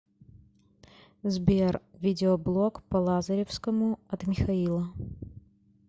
сбер видеоблог по лазаревскому от михаила